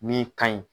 Min ka ɲi